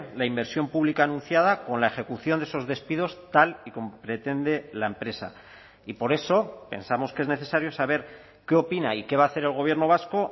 la inversión pública anunciada con la ejecución de esos despidos tal y como pretende la empresa y por eso pensamos que es necesario saber qué opina y qué va a hacer el gobierno vasco